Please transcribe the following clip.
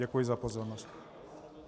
Děkuji za pozornost.